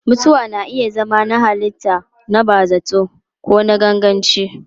Mutuwa na iya zama na halitta, na bazata ko na ganganci.